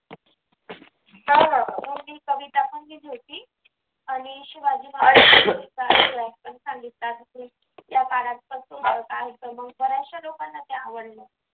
मग मी कविता पण घेतली होती आणि शिवाजी महाराज्यांचा इतिहास पण सांगितला बराचश्या लोकांना ते आवडलं.